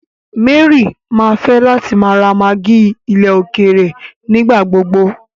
Mary mà fẹ̀ látì má ra maggi ilẹ̀ òkèèrè nígbàgbogbò.